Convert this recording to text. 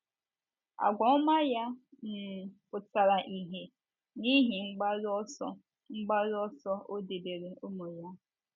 Àgwà ọma ya um pụtara ìhè n’ihe mgbaru ọsọ mgbaru ọsọ o debere ụmụ ya.